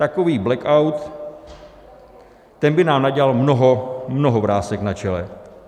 Takový blackout, ten by nám nadělal mnoho - mnoho - vrásek na čele.